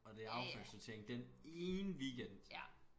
Og det affaldssortering den ene weekend